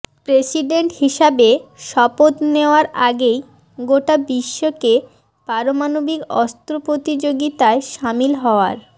president হিসাবে শপথ নেয়ার আগেই গোটা বিশ্বকে পারমাণবিক অস্ত্র প্রতিযোগিতায়সামিল হওয়ার